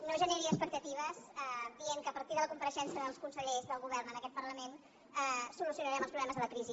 no generi expectatives dient que a partir de la compareixença dels consellers del govern en aquest parlament solucionarem els problemes de la crisi